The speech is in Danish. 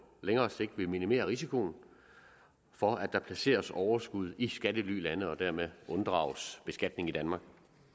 længere sigt vil minimere risikoen for at der placeres overskud i skattelylande og dermed unddrages beskatning i danmark